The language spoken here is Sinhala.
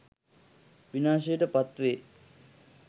විනාශයට පත්වේ.